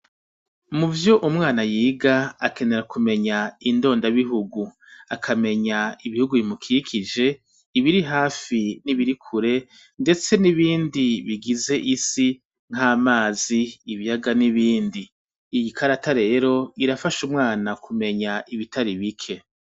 Muvy' umwana yig' akenera kumeny' indonda bihugu, akameny' ibihugu bimukikije, ibirihafi nibiri kure, mbese n' ibindi bigiz' isi nk' amazi, ibiyaga n' ibindi, iyi karata rer' irafash' umwana kumeny' ibitari bike.